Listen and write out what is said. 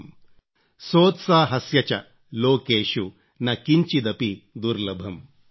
सोत्साहस्य च लोकेषु न किंचिदपि दुर्लभम् ||